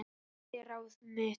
Festi ráð mitt